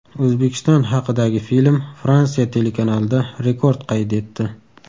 O‘zbekiston haqidagi film Fransiya telekanalida rekord qayd etdi.